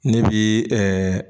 Ne bi ɛɛ